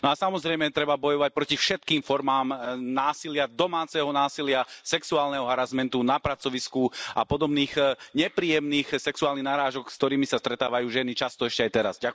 No a samozrejme treba bojovať proti všetkým formám násilia, domáceho násilia, sexuálneho harasmentu na pracovisku a podobných nepríjemných sexuálnych narážok, s ktorými sa stretávajú ženy často ešte aj teraz.